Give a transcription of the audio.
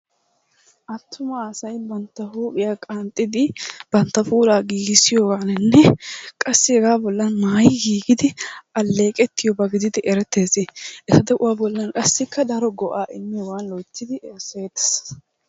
Attuma asay bantta huuphiya qanxxidi bantta puulaa giggissiyogaaninne qassi hegaa bollan maayi giiggidi alleeqettiyoba gididi erettees. A de'uwa bollan qassikka daro go'aa immiyogan loyttidi erissetees.